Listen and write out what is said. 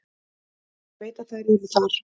Ég veit að þær eru þar.